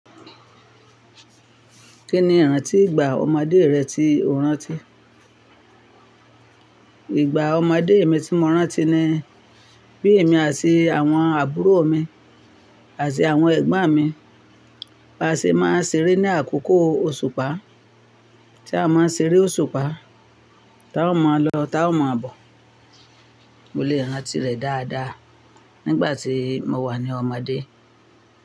Kí ni ìrántí ìgbà ọmọdé rẹ tí o rántí? Ìgbà ọmọdé mi tí mo rántí ni bí èmi àti àwọn àbúrò mi àti àwọn ẹ̀gbọ́n mi bá ṣe máa ń ṣeré ní àkókò òṣùpá. Tí a máa ń ṣeré òṣùpá, táa o máa lọ táa máa bọ̀. Mo lè rántí rẹ̀ dáadáa nígbà tí mo wà ní ọmọdé.